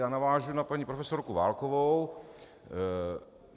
Já navážu na paní profesorku Válkovou.